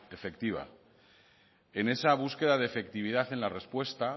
efectiva en esa búsqueda de efectividad en la respuesta